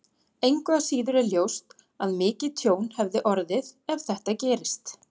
Engu að síður er ljóst að mikið tjón hefði orðið ef þetta gerist.